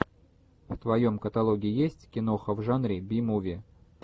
в твоем каталоге есть киноха в жанре би муви